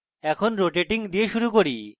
এখন rotating দিয়ে শুরু করি